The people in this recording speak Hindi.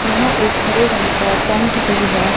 यहां एक हरे रंग का टेंट भी है।